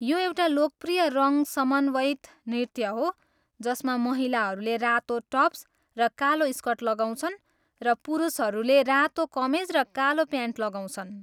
यो एउटा लोकप्रिय रङ समन्वयित नृत्य हो जसमा महिलाहरूले रातो टप्स र कालो स्कर्ट लगाउँछन्, र पुरुषहरूले रातो कमेज र कालो प्यान्ट लगाउँछन्।